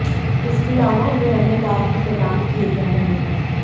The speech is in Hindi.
इसके अलावा उन्हें अन्य लाभ भी प्रदान किए गए हैं